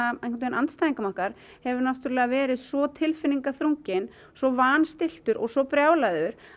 andstæðingum okkar hefur verið svo tilfinningaþrunginn svo vanstilltur og svo brjálaður